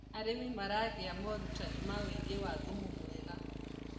arĩmi maragia morutanĩ ma ũigi wa thumu mwega